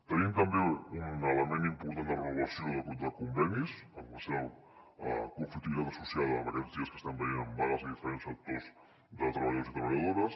tenim també un element important de renovació de convenis amb la seva conflictivitat associada aquests dies ho estem veient amb vagues a diferents sectors de treballadors i treballadores